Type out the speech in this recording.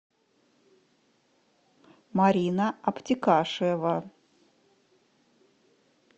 марина обтекашева